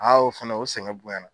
o fɛnɛ o sɛgɛn bonya na